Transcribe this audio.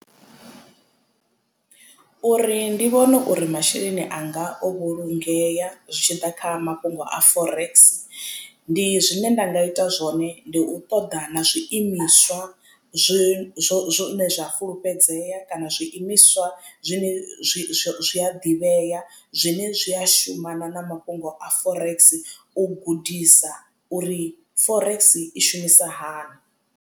Uri ndi vhone uri masheleni anga o vhulungeya zwi tshi ḓa kha mafhungo a forex ndi zwine nda nga ita zwone ndi u ṱoḓa na zwiimiswa zwi zwo zwone zwa fulufhedzea kana zwiimiswa zwine zwi a ḓivhea zwine zwi a shuma na na mafhungo a forex u gudisa uri forex i shumisa hani.